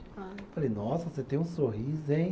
Ah, falei, nossa, você tem um sorriso, hein?